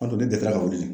An dun de delila ka wuli